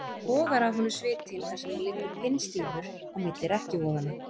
Það bogar af honum svitinn þar sem hann liggur pinnstífur á milli rekkjuvoðanna.